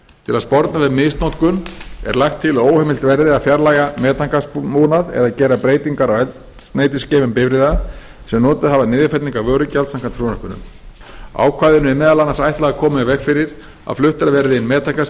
til að sporna við misnotkun er lagt til að óheimilt verði að fjarlægja metangasbúnað eða gera breytingar á eldsneytisgeymum bifreiða sem notað hafa niðurfellingar vörugjalds samkvæmt frumvarpinu ákvæðinu er meðal annars ætlað að koma í veg fyrir að fluttar verði inn